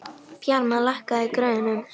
Bjarmar, lækkaðu í græjunum.